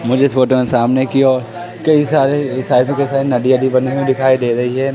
मुझे इस फोटो में सामने की ओर कई सारे नदियाँ भी बनी हुई दिखाई दे रही है।